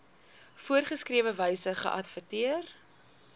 voorgeskrewe wyse geadverteer